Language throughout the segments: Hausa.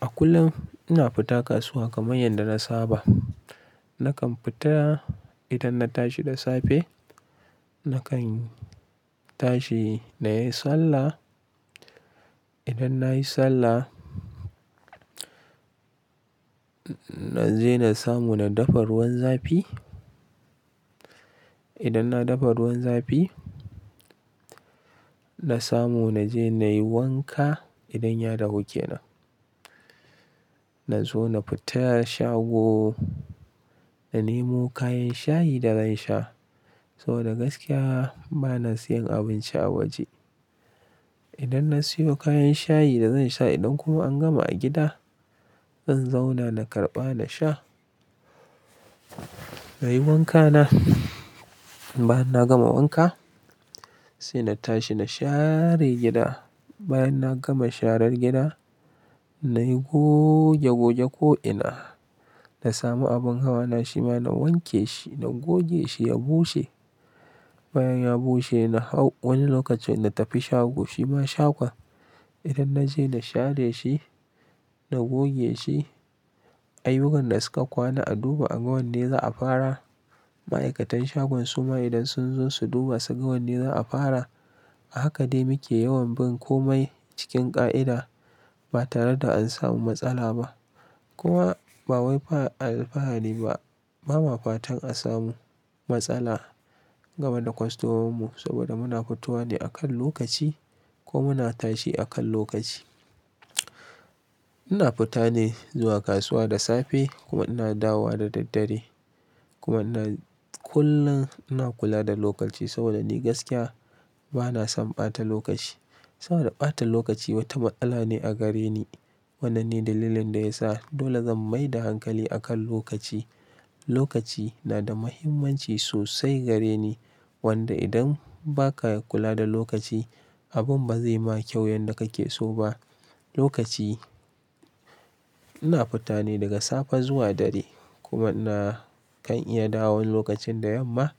A kullum ina fita kasuwa kamar yadda na saba. Nakan fita idan na tashi da safe, nakan tashi na yi sallah. Idan na yi sallah, na je na samu na dafa ruwan zafi. Idan na dafa ruwan zafi, na samu na je na yi wanka idan ya dahu kenan. Na zo na fita shago, na nemo kayan shayi da zan sha saboda gaskiya bana siyan abinci a waje. Idan na siyo kayan shayi da zan sha, idan kuma an gama a gida, zan zauna na karɓa na sha. Na yi wankana. Bayan na gama wanka, sai na tashi na share gida. Bayan na gama sharar gida, na yi goge-goge ko'ina. Na samu abun hawa na, shi ma na wanke shi, na goge shi ya bushe. Bayan ya bushe, na hau wani lokacin na tafi shago. Shi ma shagon idan na je na share shi, na goge shi, ayyukan da suka kwana a duba a ga wanne za'a fara. Ma'aikatan shagon su ma idan sun zo su duba su ga wanne za'a fara. A haka dai muke yawan bin komai cikin ƙa'ida ba tare da an samu matsala ba. Kuma ba waifa alfahari ba. Ba ma fatan a samu matsala game da kwastomomin mu saboda muna fitowa ne akan lokaci ko muna tashi akan lokaci. Ina fita ne zuwa kasuwa da safe kuma ina dawowa da daddare. Kuma ina kullum ina kula da lokaci saboda ni gaskiya bana son ɓata lokaci. Saboda ɓata lokaci wata ma'ala ne a gare ni. Wannan ne dalilin da ya sa dole zan mai da hankali akan lokaci. Lokaci na da muhimmanci sosai gare ni wanda idan ba ka kula da lokaci, abun ba zai ma kyau yanda ka ke so ba. Lokaci ina fita ne daga safe zuwa dare kuma ina kan iya dawowa wani lokacin da yamma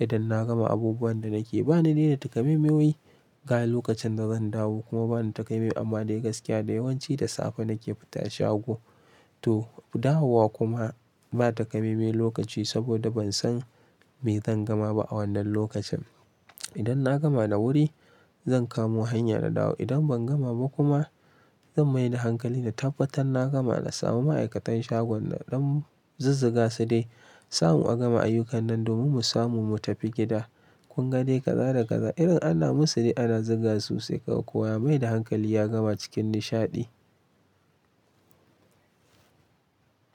idan na gama abubuwan da nake. Ba ni dai da takamaimai wai ga lokacin da zan dawo kuma ba nibtakamaime amma dai gaskiya da yawanci da safe nake fita shago. To, dawowa kuma ba takamaimen lokaci saboda ban san me zan gama ba a wannan lokacin. Idan na gama da wuri, zan kamo hanya na dawo. Idan ban gama ba kuma, zan mai da hankali na tabbatar na gama na samu ma'aikatan shagon naɗan zuzziga su dai asamu a gama ayyukan nan domin mu samu mu tafi gida. Kungade kaza da kaza irin ana musu dai ana zuga su sai kaga kowa ya mai da hankali ya gama cikin nishaɗi.